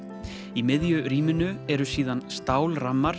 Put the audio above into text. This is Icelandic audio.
í miðju rýminu eru síðan